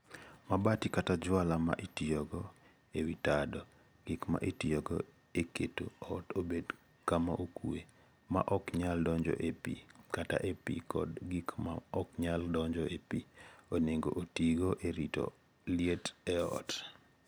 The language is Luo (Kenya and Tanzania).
mabati kata jwala ma itiyogo e wi tado. Gik ma itiyogo e keto ot obed kama okuwe, ma ok nyal donjo e pi kata e pi, kod gik ma ok nyal donjo e pi, onego otigo e rito liet e ot.